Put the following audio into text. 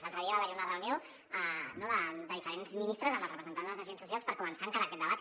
l’altre dia va haver hi una reunió de diferents ministres amb els representants dels agents socials per començar a encarar aquest debat